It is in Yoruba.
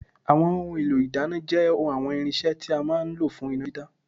Àwọn ohun èlò ìdáná jẹ́ àwọn irinṣẹ́ tí a máa ń lò fún iná dídá